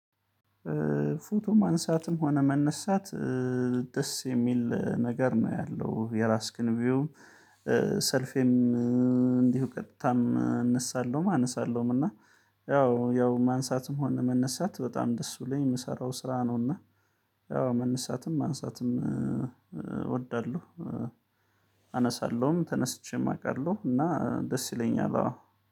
ፎቶ ማንሳትም ሆነ መነሳት ደስ የሚል ነገር ነው ያለው የራስክን ቪው። ሰልፊም እንዲሁ ቀጥታም እነሳለሁም አነሳለሁም እና ያው ያው ማንሳትም ሆነ መነሳት በጣም ደስ ብሎኝ የምሰራው ስራ ነው። እና ያው መነሳትም ማንሳትም እወዳለሁ። አነሳለሁም ተነስቼም አውቃለሁ እና ደስ ይለኛል አዎ